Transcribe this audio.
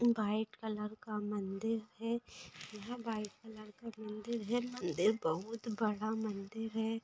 इ white colour का मंदिर है यह व्हाइट कलर का मंदिर है मंदिर बहुत बड़ा मंदिर है।